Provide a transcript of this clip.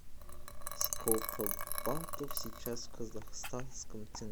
сколько батов сейчас в казахстанском